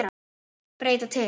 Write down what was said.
Breyta til.